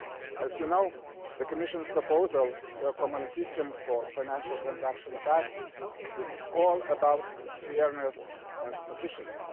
As you know, the Commission's proposal for a common system of financial transaction tax is all about fairness and efficiency.